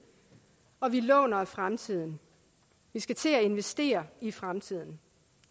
og at vi låner af fremtiden vi skal til at investere i fremtiden